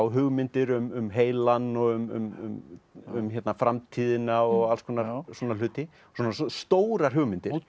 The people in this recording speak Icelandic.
hugmyndir um heilann og um um framtíðina og alls konar svona hluti svona stórar hugmyndir